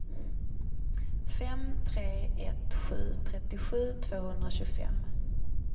fem tre ett sju trettiosju tvåhundratjugofem